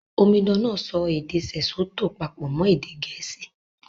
Omidan náà èdè Sesotho pàpò mọn Gẹ̀ẹ̀síì